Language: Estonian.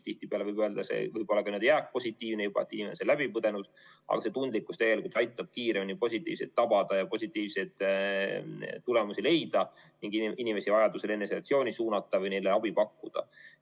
Tihtipeale võib öelda, et see võib olla juba ka jääkpositiivne, ta on selle haiguse läbi põdenud, aga selline tundlikkus aitab kiiremini positiivseid tulemusi leida ning inimesi vajaduse korral eneseisolatsiooni suunata või neile abi pakkuda.